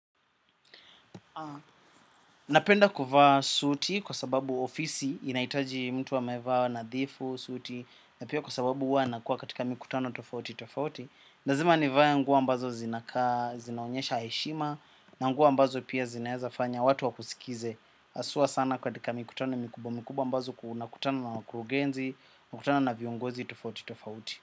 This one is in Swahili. Napenda kuvaa suuti kwa sababu ofisi inaitaji mtu amevaa nadhifu, suti na pia kwa sababu huwa nakuwa katika mikutano tofauti tofauti lazima nivae nguo ambazo zinakaa zinaonyesha heshima na nguo ambazo pia zinaeza fanya watu wakusikize. Aswa sana katika mikutano mikubwa, mikubwa ambazo ku unakutana na wakurugenzi unakutana na viongozi tofauti tofauti.